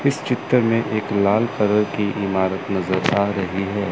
इस चित्र में एक लाल कलर की इमारत नजर आ रही है।